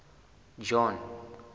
john